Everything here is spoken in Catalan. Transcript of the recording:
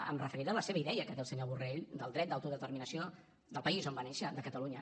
em referiré a la seva idea que té el senyor borrell del dret d’autodeterminació del país on va néixer de catalunya